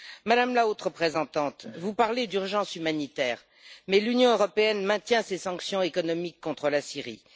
Madame la Haute représentante, vous parlez d'urgence humanitaire, mais l'Union européenne maintient ses sanctions économiques contre la Syrie.